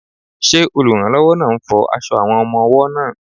Ṣé olùrànlọ́wọ́ náà ń fọ aṣọ àwọn ọmọ-ọwọ́ náà?